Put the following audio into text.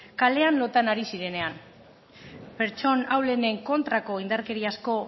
kalean lotan ari zirenean pertsona ahulenen kontrako indarkeriazko